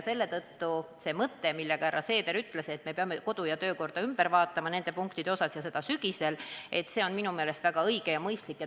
Seetõttu see mõte, mida härra Seeder ütles, et me peame kodu- ja töökorda ümber tegema nende punktide kohapealt ja tegema seda sügisel, on minu meelest väga õige ja mõistlik.